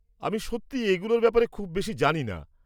আমি সত্যি এগুলোর ব্যাপারে খুব বেশি জানি না।